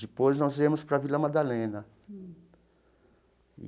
Depois, nós viemos para Vila Madalena e.